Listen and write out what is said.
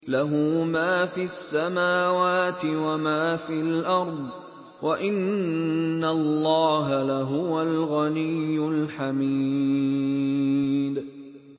لَّهُ مَا فِي السَّمَاوَاتِ وَمَا فِي الْأَرْضِ ۗ وَإِنَّ اللَّهَ لَهُوَ الْغَنِيُّ الْحَمِيدُ